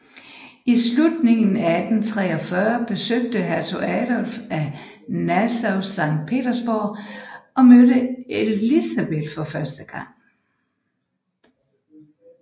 I slutningen af 1843 besøgte Hertug Adolf af Nassau Sankt Petersborg og mødte Elisabeth for første gang